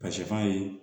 Ka sɛfan ye